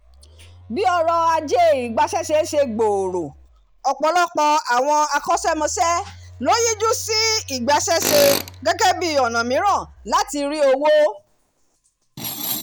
bí ọrọ̀ ajé ìgbaṣẹ́ṣe ṣe gbòòrò ọ̀pọ̀lọpọ̀ àwọn akọ́ṣẹ́mọṣẹ́ ló yíjú sí ìgbaṣẹ́ṣe gẹ́gẹ́ bí ọ̀nà mìíràn láti rí owó